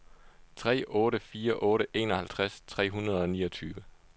tre otte fire otte enoghalvtreds tre hundrede og niogtyve